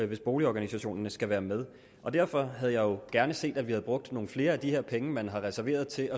hvis boligorganisationerne skal være med derfor havde jeg jo gerne set at vi havde brugt nogle flere af de her penge man har reserveret til